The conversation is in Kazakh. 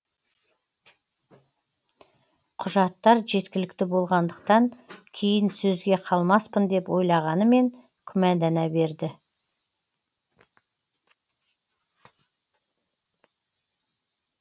құжаттар жеткілікті болғандықтан кейін сөзге қалмаспын деп ойлағанымен күмәндана берді